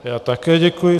Já také děkuji.